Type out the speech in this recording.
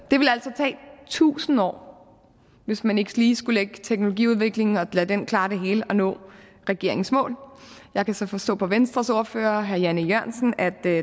tusind år hvis man ikke lige skulle lægge teknologiudviklingen til og lade den klare det hele at nå regeringens mål jeg kan så forstå på venstres ordfører herre jan e jørgensen at der